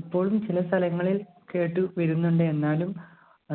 ഇപ്പോളും ചില സ്ഥലങ്ങളിൽ കേട്ടു വരുന്നുണ്ട് എന്നാലും